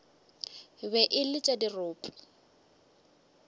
be e le tša dirope